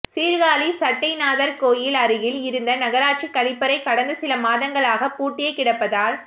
சீா்காழி சட்டைநாதா் கோயில் அருகில் இருந்த நகராட்சி கழிப்பறை கடந்த சில மாதங்களாக பூட்டியே கிடப்பதால்